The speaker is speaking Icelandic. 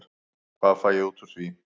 Hvað fæ ég út úr því?